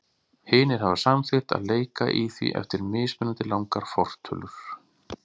Hinir hafa samþykkt að leika í því eftir mismunandi langar fortölur.